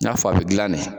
N'a fɔ a bɛ dilan de